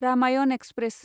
Ramayana express